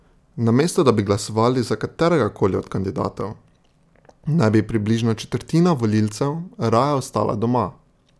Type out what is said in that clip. Namesto da bi glasovali za kateregakoli od kandidatov, naj bi približno četrtina volivcev raje ostala doma.